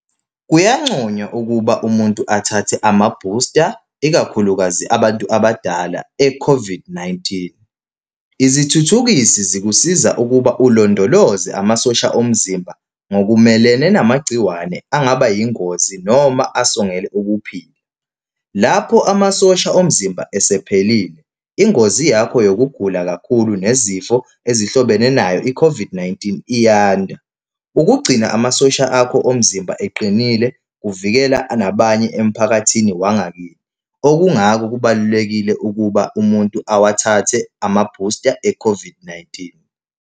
Kuyancoywa ukuba umuntu athathe ama-booster, ikakhulukazi abantu abadala, e-COVID-19. Izithuthukisi zikusiza ukuba ulondoloze amasosha omzimba ngokumelene namagciwane angaba yingozi noma asongele ukuphila. Lapho amasosha omzimba esephelile, ingozi yakho yokugula kakhulu nezifo ezihlobene nayo i-COVID-19 iyanda. Ukugcina amasosha akho omzimba eqinile kuvikela nabanye emphakathini wangakithi. Okungako kubalulekile ukuba umuntu awathathe ama-booster e-COVID-19.